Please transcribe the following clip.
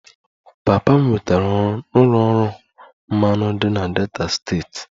Papa m nwetara ọrụ n'ụlọ ọrụ mmanụ dị na Delta steeti